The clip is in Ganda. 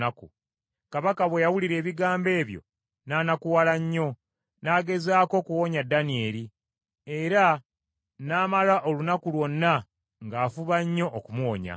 Kabaka bwe yawulira ebigambo ebyo n’anakuwala nnyo, n’agezaako okuwonya Danyeri, era n’amala olunaku lwonna ng’afuba nnyo okumuwonya.